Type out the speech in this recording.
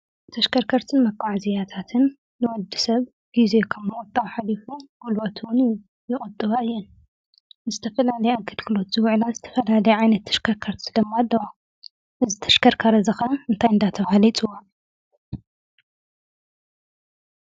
ተሽከርከርትን መጓዓዛዝያታትን ንወዲ ሰብ ጊዜ ኸብ ምቁጣብ ሓሊፉ ጕልበት እውን ይቁጥባ እየን ። ምስ ዝተፈላለዩ ኣገልግሎት ዝውዕላ ዝተፈላለይ ዓይነት ተሽከርከርት ደማ ኣለዋ። እዚ ተሽከርካሪ እዚ ከዓ እንታይ እንዳተባሃለ ይፅዋዕ?